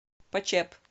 почеп